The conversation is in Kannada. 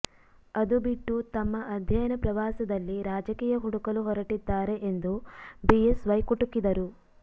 ಅದು ಬಿಟ್ಟು ತಮ್ಮ ಅಧ್ಯಯನ ಪ್ರವಾಸದಲ್ಲಿ ರಾಜಕೀಯ ಹುಡುಕಲು ಹೊರಟಿದ್ದಾರೆ ಎಂದು ಬಿಎಸ್ವೈ ಕುಟುಕಿದರು